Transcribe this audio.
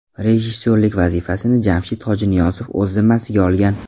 Rejissyorlik vazifasini Jamshid Hojiniyozov o‘z zimmasiga olgan.